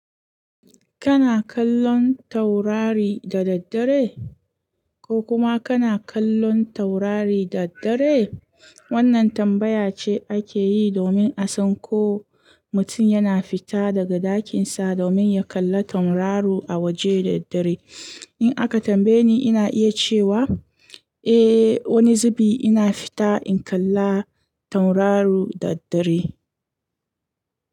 Kana kallon taurari da daddare? Ko kuma kana kallon taurari da daddare? Wannan tambaya ce ake yi domin a san ko mutum yana fita daga ɗakinsa domin ya kalla tauraru a waje da daddare. In aka tambaye ni, ina iya cewa, "Eh, wani zubi ina fita in kalla tauraro da daddare."